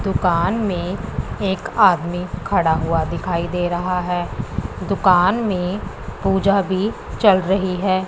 दुकान में एक आदमी खड़ा हुआ दिखाई दे रहा है दुकान में पूजा भी चल रही है।